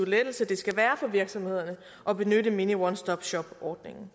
lettelse det skal være for virksomhederne at benytte mini one stop shop ordningen